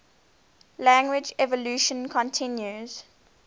language evolution continues